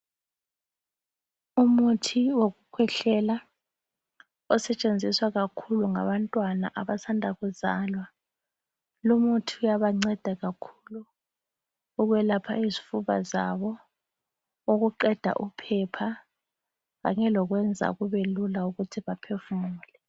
Umuthi wokukwehlela osetshenziswa kakhulu ngabantwana abancane abasandakuzalwa. Lomuthi uyanceda kakhulu ekwelapha izifuba zabo, ukuqeda uphepha, kanye lokwenza kube lula ukuthi baphefumule.